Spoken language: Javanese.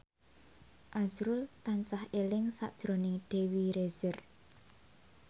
azrul tansah eling sakjroning Dewi Rezer